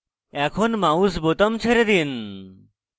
এখন mouse বোতাম ছেড়ে দিন